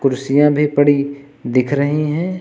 कुर्सियां भी पड़ी दिख रही हैं।